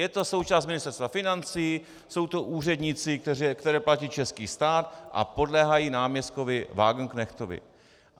Je to součást Ministerstva financí, jsou to úředníci, které platí český stát a podléhají náměstkovi Wagenknechtovi.